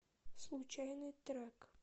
случайный трек